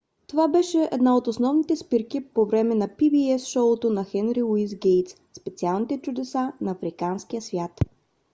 това беше една от основните спирки по време на pbs шоуто на хенри луис гейтс специалните чудесата на африканския свят